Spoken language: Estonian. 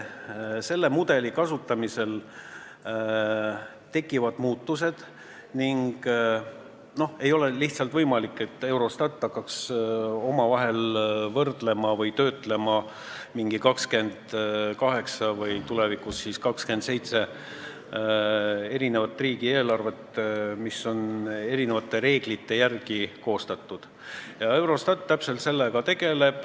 Selle mudeli kasutamisel tekivad muutused ning ei ole lihtsalt võimalik, et Eurostat hakkaks omavahel võrdlema või töötlema 28 või tulevikus 27 riigieelarvet, mis on erinevate reeglite järgi koostatud.